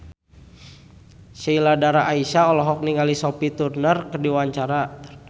Sheila Dara Aisha olohok ningali Sophie Turner keur diwawancara